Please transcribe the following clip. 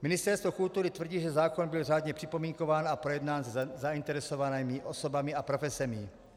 Ministerstvo kultury tvrdí, že zákon byl řádně připomínkován a projednán se zainteresovanými osobami a profesemi.